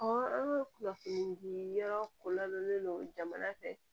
an ka kunnafoni di yɔrɔ kololen don jamana fɛ